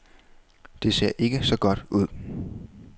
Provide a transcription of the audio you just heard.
Det ser ikke så godt ud.